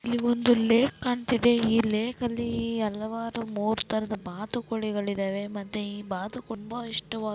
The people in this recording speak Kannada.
ಇಲ್ಲಿ ಒಂದು ಲೇಕ್ ಕಣ್ತಿದೆ ಈ ಲೇಕ್ ಅಲ್ಲಿ ಈ ಹಲವಾರು ಮೂರೂ ತರಹದ ಬಾತುಕೋಳಿಗಳಿದವೆ ಮತ್ತೆ ಈ ಬಾತುಕೋಳಿಗೆ ತುಂಬಾ ಇಷ್ಟವಾ--